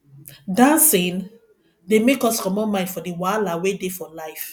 dancing dey make us comot mind for di wahala wey dey for life